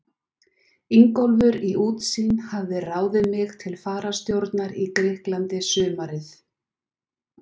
Ingólfur í Útsýn hafði ráðið mig til fararstjórnar í Grikklandi sumarið